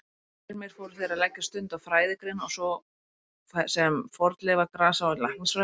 Síðar meir fóru þeir að leggja stund á fræðigreinar svo sem fornleifa-, grasa- og læknisfræði.